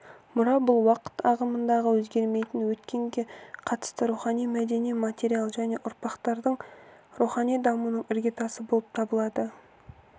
мұра бұл уақыт ағымында өзгермейтін өткенге қатысты рухани мәдени материал және ұрпақтардың рухани дамуының іргетасы болып табылады